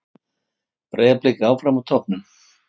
Breiðablik áfram á toppnum